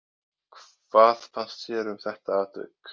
Hvað fannst þér um þetta atvik?